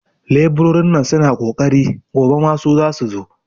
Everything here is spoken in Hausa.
leburorin nan suna ƙoƙari, gobe ma su zasu zo.